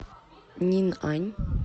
нинъань